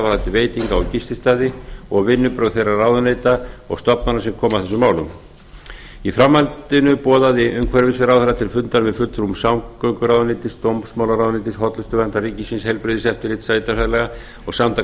er varðar veitinga og gististaði og vinnubrögð þeirra ráðuneyta og stofnana sem koma að þessum málum í framhaldinu boðaði umhverfisráðherra til fundar með fulltrúum samgönguráðuneytis dómsmálaráðuneytis hollustuverndar ríkisins heilbrigðiseftirlits sveitarfélaga og samtaka